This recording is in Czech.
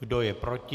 Kdo je proti?